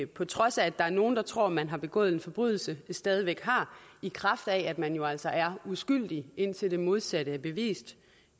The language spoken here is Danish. på trods af at der er nogle der tror man har begået en forbrydelse stadig væk har i kraft af at man jo altså er uskyldig indtil det modsatte er bevist